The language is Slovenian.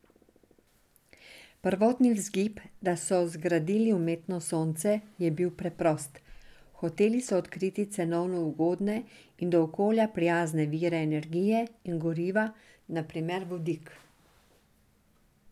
Prvotni vzgib, da so zgradili umetno sonce, je bil preprost, hoteli so odkriti cenovno ugodne in do okolja prijazne vire energije in goriva, na primer vodik.